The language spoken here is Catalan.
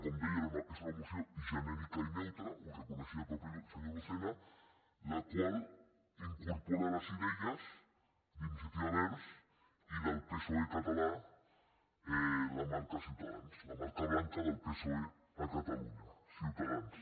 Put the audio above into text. com deia és una moció genèrica i neutra ho reconeixia el mateix senyor lucena la qual incorpora les idees d’iniciativa verds i del psoe català la marca ciutadans la marca blanca del psoe a catalunya ciutadans